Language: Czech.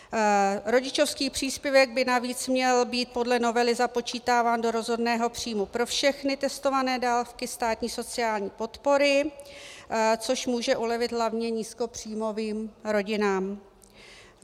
Rodičovský příspěvek by navíc měl být podle novely započítáván do rozhodného příjmu pro všechny testované dávky státní sociální podpory, což může ulevit hlavně nízkopříjmovým rodinám.